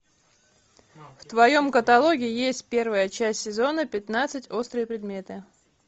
в твоем каталоге есть первая часть сезона пятнадцать острые предметы